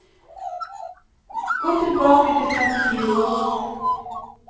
Gå tilbake trettifire ord